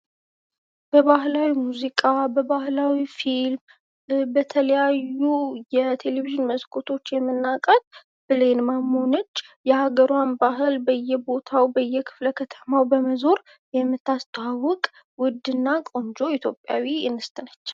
በባህላዊ ሙዚቃ በባህላዊ ፊልም በተለያዩ የቴሌቪዥን መስኮቶች የምናውቃት ብሌን ማሞ ናት። የሀገሯን ባህል በየቦታው በየክፍለ ከተማው በመዞር የምታስተዋውቅ ውድና ቆንጆ ኢትዮጵያዊ እንስት ነች።